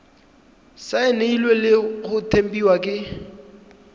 saenilwe le go tempiwa ke